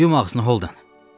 Yum ağzını Holden.